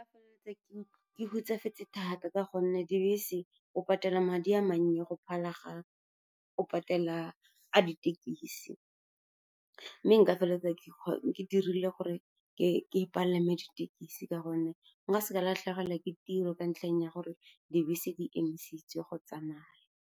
Ke hutsafetse thata ka gonne dibese o patela madi a mannye go phala ga o patela a ditekisi, mme nka feleletsa ke dirile gore ke palame ditekesi ka gonne nka se ka latlhegelwa ke tiro ka ntlheng ya gore dibese di emisitswe go tsamaya.